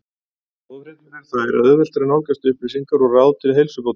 Góðu fréttirnar eru þær að auðvelt er að nálgast upplýsingar og ráð til heilsubótar.